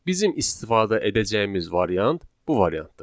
Bizim istifadə edəcəyimiz variant bu variantdır.